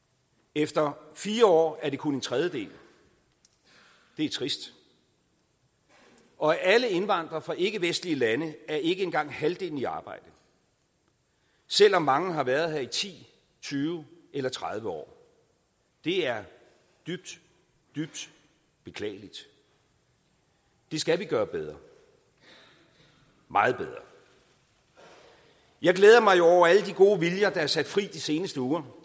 efter fire år er det kun en tredjedel det er trist og af alle indvandrere fra ikkevestlige lande er ikke engang halvdelen i arbejde selv om mange har været her i ti tyve eller tredive år det er dybt dybt beklageligt det skal vi gøre bedre meget bedre jeg glæder mig jo over alle de gode viljer der er sat fri i de seneste uger